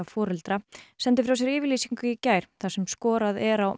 foreldra sendu frá sér yfirlýsingu í gær þar sem skorað er á